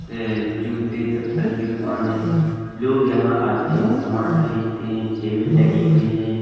से जूते चप्पल की दुकान हैं। लोग यहाँ आते हैं समान खरीदते हैं। टेबल लगी हुई हैं।